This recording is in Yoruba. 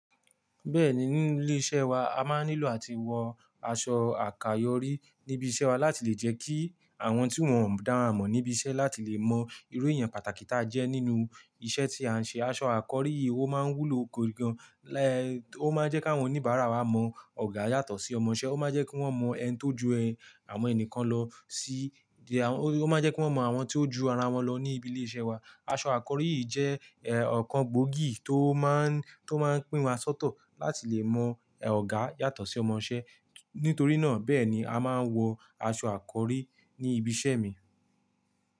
Bẹ́ẹ̀ni ní ilé iṣẹ́ wa a máa ń nílò àti wọ aṣọ àkayòrí níbi iṣẹ́ wa láti lè jẹ́ kí àwọn tí wón ò dára mọ̀ níbi iṣẹ́ láti lè mọ irú èèyàn pàtàkì tá jẹ́ nínú iṣẹ́ tí à ń ṣe. Aṣọ àkọrí yìí ó máa ń wúlò gidi gan, ó máa ń jẹ́ kí àwọn oníbàárà wa mọ ọ̀gá yàtọ̀ sí ọmọṣẹ́, ó máa ń jẹ́ kí wón mọ ẹni tó ju ẹ, àwọn ẹnìkan lọ sí, ó máa ń jẹ́ kí wón mọ àwọn tí ó ju ara wọn lọ ní ibi ilé iṣẹ́ wa. Aṣọ àkọrí yìí jẹ́ ọ̀kan gbòógì tó máa ń, tó máa ń pín wa sóto láti lè mọ ọ̀gá yàtọ̀ sí ọmọṣẹ́. Nítorí náà bẹ́ẹ̀ ni a máa ń wọ aṣọ àkọrí ní ibi iṣẹ́ mi.